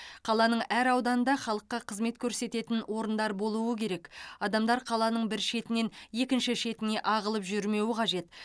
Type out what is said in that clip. қаланың әр ауданында халыққа қызмет көрсететін орындар болуы керек адамдар қаланың бір шетінен екінші шетіне ағылып жүрмеуі қажет